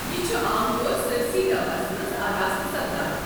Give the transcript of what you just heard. یہِ چھُ عام طور سٲرِسٕے گواہَس منٛز آراستہٕ سپدان۔